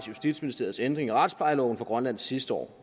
justitsministeriets ændring i retsplejeloven for grønland sidste år